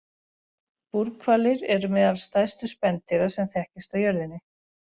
Búrhvalir eru meðal stærstu spendýra sem þekkjast á jörðinni.